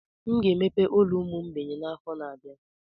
M ga-emepe ụlọ ụmụ mgbei n'afọ na-abịa.